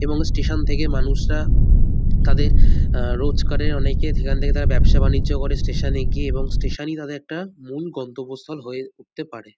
এবং স্টেশন থেকে মানুষরা তাদের আ রোজকারের অনেকে সেখান থেকে তারা ব্যাবসা বাণিজ্য করে স্টেশন -এ গিয়ে এবং স্টেশন -ই তাদের একটা মূল গন্তব্যস্থল হয়ে উঠতে পারে।